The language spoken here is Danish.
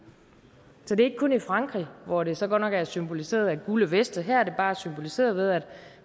så det er ikke kun i frankrig hvor det så godt nok er symboliseret af gule veste her er det bare symboliseret ved at